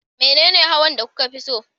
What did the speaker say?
Menene hawan da kuka fi so?